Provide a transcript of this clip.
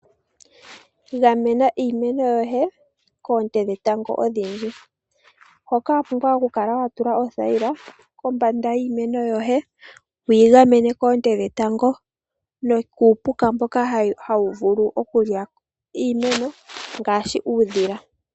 Gamena iimeno yoye koonte dhetango odhindji, hoka wapumbwa okukala watula othayila kombanda yiimeno yoye wuyigamene koonte dhetango nokuupuka mboka hawuvulu okulya iimenyo ngaashi uudhila.